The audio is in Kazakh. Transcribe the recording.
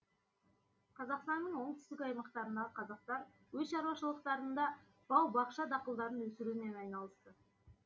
қазақстанның оңтүстік аймақтарындағы қазақтар өз шаруашылықтарында бау бақша дақылдарын өсірумен айналысты